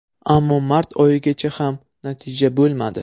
Ammo mart oyigacha ham natija bo‘lmadi.